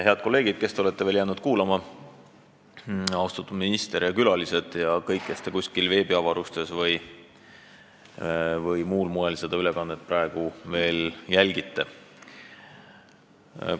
Head kolleegid, kes te olete jäänud veel kuulama, austatud minister ja külalised ja kõik, kes te kuskil veebiavarustes või muul moel seda ülekannet praegu veel jälgite!